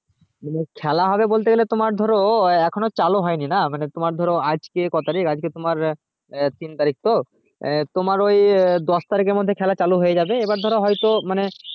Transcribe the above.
মানে খেলা হবে বলতে গেলে তোমার ধরো এখনো চালু হয়নি না মানে তোমার ধরো আজ কে ক তারিখ আজ কে তোমার তিন তারিখ তো আঃ তোমার ওই দশ তারিক এর মধ্যে খেলা চালু হয়ে যাবে এবার ধরো হয়তো